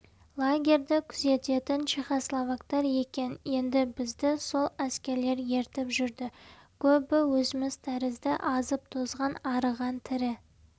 лагерьді күзететін чехословактар екен енді бізді сол әскерлер ертіп жүрді көбі өзіміз тәрізді азып-тозған арыған тірі